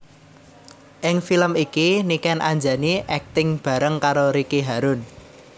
Ing film iki Niken Anjani akting bareng karo Ricky Harun